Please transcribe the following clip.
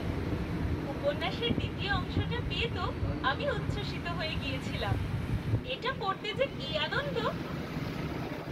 উপন্যাসের দ্বিতীয় অংশটা পেয়ে তো আমি উচ্ছ্বসিত হয়ে গিয়েছিলাম! এটা পড়তে যে কি আনন্দ!